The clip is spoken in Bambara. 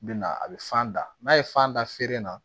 Bɛ na a bɛ fan da n'a ye fan da feere na